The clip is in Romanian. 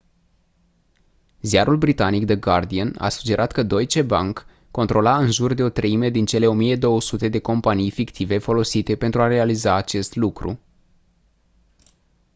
ziarul britanic the guardian a sugerat că deutsche bank controla în jur de o treime din cele 1200 de companii fictive folosite pentru a realiza acest lucru